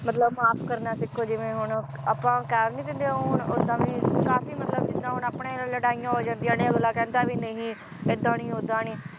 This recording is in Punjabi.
ਮਤਲਬ ਮਾਫ ਕਰਨਾ ਸਿੱਖੋ ਜਿਵੇ ਹੁਣ ਆਪਾਂ ਕਹਿ ਨੀ ਦਿੰਦੇ ਹੁਣ ਓਦਾਂ ਵੀ ਕਾਫੀ ਮਤਲਬ ਜਿੱਦਾਂ ਹੁਣ ਆਪਣੇ ਲੜਾਈਆਂ ਹੋ ਜਾਂਦੀਆਂ ਨੇ ਅਗਲਾ ਕਹਿੰਦਾ ਵੀ ਨਹੀਂ ਏਦਾਂ ਨੀ ਓਦਾਂ ਨੀ,